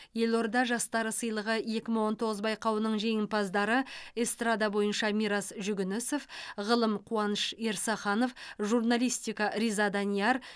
елорда жастары сыйлығы екі мың он тоғыз байқауының жеңімпаздары эстрада бойынша мирас жүгінісов ғылым қуаныш ерсаханов журналистика риза данияр